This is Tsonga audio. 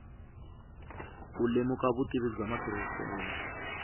ku lemuka vutivi bya matirhiselo